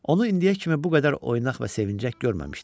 Onu indiyə kimi bu qədər oynaq və sevinçək görməmişdim.